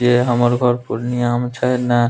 जे हमर घर पूर्णिया में छै न --